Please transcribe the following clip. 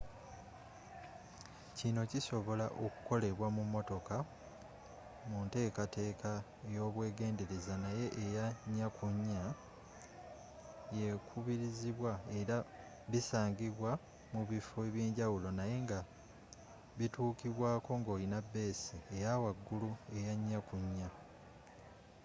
kinno kisobola okukolebwa mu motoka munteekateeka eyobwegendereza naye eya 4x4 yekubirizibwa era bisangibwa mubiffo ebyenjawulo naye nga bituukibwaako nga olina beesi eyawagulu eya 4x4